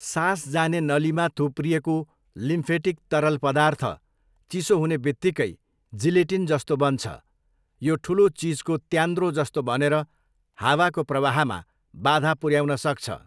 सास जाने नलीमा थुप्रिएको लिम्फेटिक तरल पदार्थ चिसो हुने बित्तिकै जिलेटिन जस्तो बन्छ, यो ठुलो चिजको त्यान्द्रो जस्तो बनेर हावाको प्रवाहमा बाधा पुऱ्याउन सक्छ।